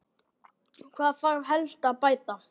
Hvað þarf helst að bæta?